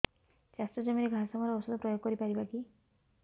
ଚାଷ ଜମିରେ ଘାସ ମରା ଔଷଧ ପ୍ରୟୋଗ କରି ପାରିବା କି